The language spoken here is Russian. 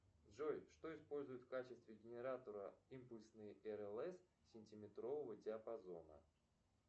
джой что используют в качестве генератора импульсной рлс сантиметрового диапазона